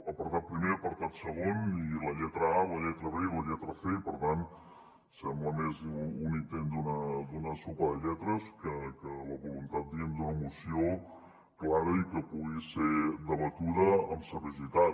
apartat primer apartat segon i la lletra a la lletra be i la lletra ce i per tant sembla més un intent d’una sopa de lletres que la voluntat d’una moció clara i que pugui ser debatuda amb seriositat